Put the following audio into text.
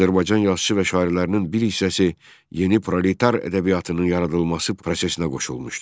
Azərbaycan yazıçısı və şairlərinin bir hissəsi yeni proletar ədəbiyyatının yaradılması prosesinə qoşulmuşdu.